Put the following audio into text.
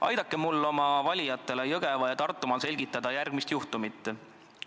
Aidake mul oma valijatele Jõgeva- ja Tartumaal selgitada järgmist juhtumit.